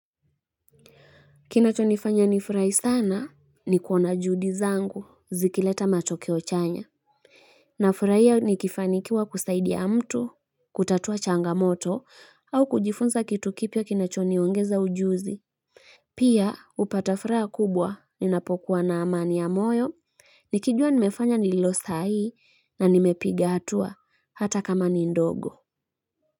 Kinachonifanya nifurai sana ni kuona juhudi zangu zikileta matokeo chanya. Nafurahia nikifanikiwa kusaidia mtu, kutatua changamoto au kujifunza kitu kipya kinachoniongeza ujuzi. Pia upata furaha kubwa ninapokuwa na amani ya moyo. Nikijua nimefanya ninilo sahihi na nimepiga hatua hata kama ni ndogo.